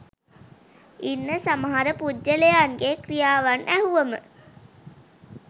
ඉන්න සමහර පුද්ගලයන්ගේ ක්‍රියාවන් ඇහුවම